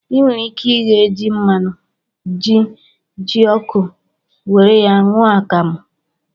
I nwere ike ighe ji nwannu, ji, jioko, were ya ṅụọ akamụ